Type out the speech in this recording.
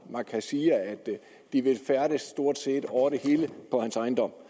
man kan sige at de vil færdedes stort set over det hele på hans ejendom